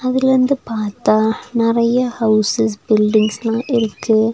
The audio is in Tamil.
இதுலிருந்து பாத்தா நெறையா ஹௌசஸ் பில்டிங்ஸ்லா இருக்கு.